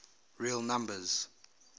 real numbers